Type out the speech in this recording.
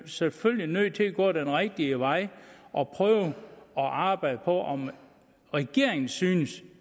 selvfølgelig nødt til at gå den rigtige vej og prøve at arbejde på om regeringen synes